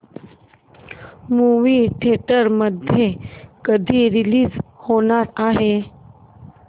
movie theatre मध्ये कधी release होणार आहे